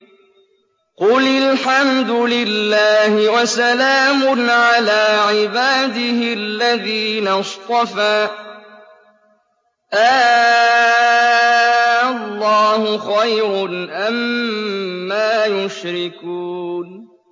قُلِ الْحَمْدُ لِلَّهِ وَسَلَامٌ عَلَىٰ عِبَادِهِ الَّذِينَ اصْطَفَىٰ ۗ آللَّهُ خَيْرٌ أَمَّا يُشْرِكُونَ